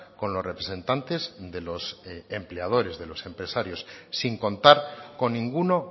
con los representantes de los empleadores de los empresarios sin contar con ninguno